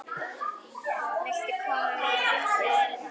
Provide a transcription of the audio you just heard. Viltu koma með okkur?